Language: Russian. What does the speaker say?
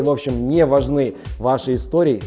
в общем не важны ваши истории